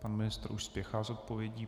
Pan ministr už spěchá s odpovědí.